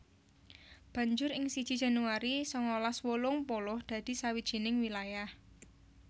Banjur ing siji Januari sangalas wolung puluh dadi sawijining wilayah